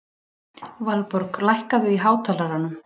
Valborg, lækkaðu í hátalaranum.